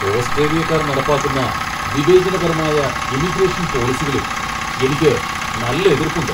ഓസ്ട്രേലിയക്കാർ നടപ്പാക്കുന്ന വിവേചനപരമായ ഇമിഗ്രേഷൻ പോളിസികളിൽ എനിക്ക് നല്ല എതിർപ്പുണ്ട്.